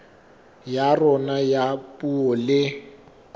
ya rona ya puo le